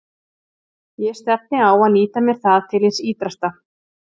Ég stefni á að nýta mér það til hins ýtrasta.